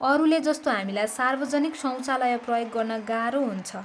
अरूले जस्तो हामीलाई सार्वजनिक शौचालय प्रयोग गर्न गाह्रो हुन्छ।